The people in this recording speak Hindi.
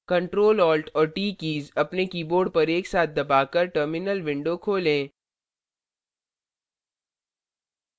ctrl alt और t कीज अपने keyboard पर एक साथ दबाकर terminal window खोलें